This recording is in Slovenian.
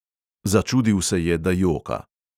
Začudil se je, da joka.